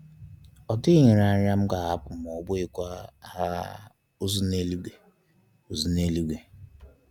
Ọ dịghị nrịanrịa, mgbahapụ maọbụ ịkwa um ozu n'eluigwe. ozu n'eluigwe.